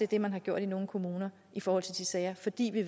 det man har gjort i nogle kommuner i forhold til de sager fordi vi